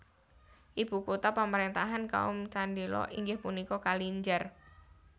Ibu kota pamaréntahan kaum Chandela inggih punika Kalinjar